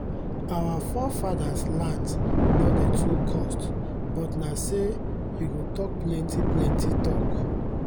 our forefadas lands nor dey too cost but nah say u go talk plenti plenti talk